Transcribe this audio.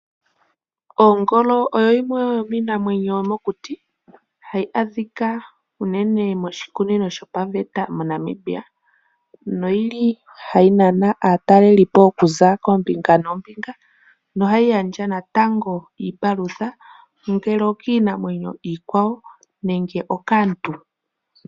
Ongolo oyo yimwe yomiinamwenyo yomokuti hayi adhika uunene moshikunino shopaveta moNamibia noyili hayi nana aataleli po okuza koombinga noombinga na